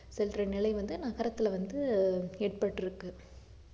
செல்ற நிலை வந்து நகரத்துல வந்து ஆஹ் ஏற்பட்டிருக்கு